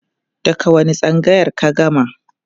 daga wani tsangayar ka gama?